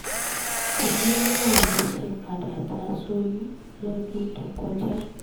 kínní náà ló sì padà já sóyún lọ́dún tó kọjá